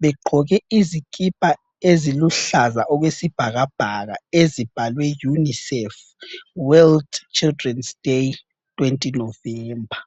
begqoke izikipa eziluhlaza okwesibhakabhaka ezibhalwe Unicef World Children's day 20 November.